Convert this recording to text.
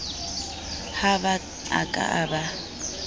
ha ba a ka ba